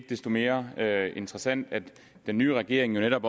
desto mere interessant at den nye regering netop